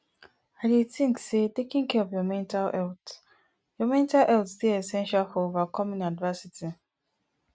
i dey think say taking care of your mental health your mental health dey essential for overcoming adversity